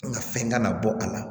Nka fɛn kana bɔ a la